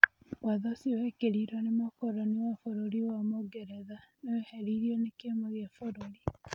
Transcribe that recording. Watho ũcio wekĩrirwo nĩ mũkoroni wa bũrũri wa Mũngeretha nĩweherirwo nĩ kĩama gĩa bũrũri.